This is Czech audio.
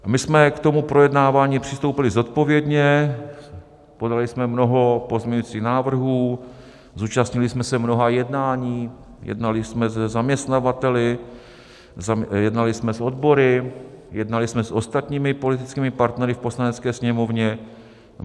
My jsme k tomu projednávání přistoupili zodpovědně, podali jsme mnoho pozměňovacích návrhů, zúčastnili jsme se mnoha jednání, jednali jsme se zaměstnavateli, jednali jsme s odbory, jednali jsme s ostatními politickými partnery v Poslanecké sněmovně.